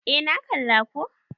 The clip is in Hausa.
Eh na kalla ko